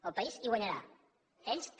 el país hi guanyarà ells també